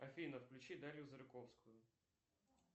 афина включи дарью зырковскую